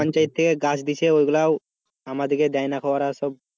পঞ্চায়েত থেকে গাছ দিচ্ছে ওই গুলাও আমাদের কে দেয়নি ওরা সব,